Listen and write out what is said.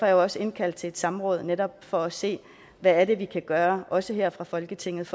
jeg også indkaldt til et samråd netop for at se hvad vi kan gøre også her fra folketingets